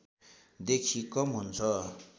देखि कम हुन्छ